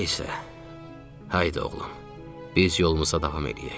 Nəysə, Haydı oğlum, biz yolumuza davam eləyək.